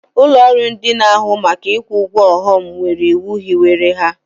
Ụlọrụ ndị n'ahụ maka ikwu ụgwọ ọghọm nwere iwu hiwere ha.